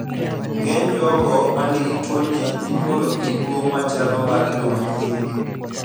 Ng'eny jogo manigi tuo ni inyuolo gi duong' machalo mag jomanyiri